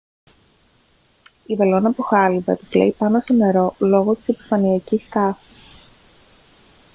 η βελόνα από χάλυβα επιπλέει πάνω στο νερό λόγω επιφανειακής τάσης